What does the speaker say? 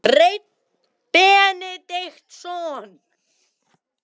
Hreinn Benediktsson.